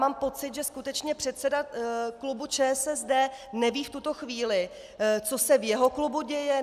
Mám pocit, že skutečně předseda klubu ČSSD neví v tuto chvíli, co se v jeho klubu děje.